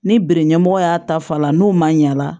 Ni biri ɲɛmɔgɔ y'a ta fa la n'u ma ɲa la